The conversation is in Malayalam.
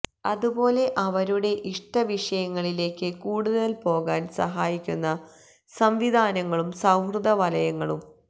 അതുപോലെ അവരുടെ ഇഷ്ട വിഷയങ്ങളിലേക്ക് കൂടുതൽ പോകാൻ സഹായിക്കുന്ന സംവിധാനങ്ങളും സൌഹൃദവലയങ്ങളും